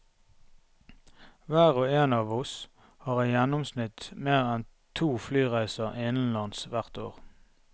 Hver og en av oss har i gjennomsnitt mer enn to flyreiser innenlands hvert år.